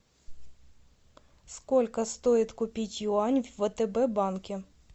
сколько стоит купить юань в втб банке